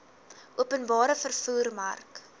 openbare vervoer mark